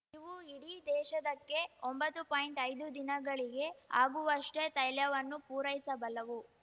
ಇವು ಇಡೀ ದೇಶದಕ್ಕೆ ಒಂಬತ್ತು ಪಾಯಿಂಟ್ಐದು ದಿನಗಳಿಗೆ ಆಗುವಷ್ಟೇತೈಲವನ್ನು ಪೂರೈಸಬಲ್ಲವು